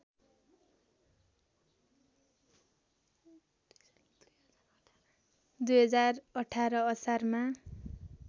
२०१८ असारमा